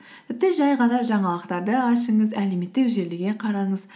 тіпті жай ғана жаңалықтарды ашыңыз әлеуметтік желіге қараңыз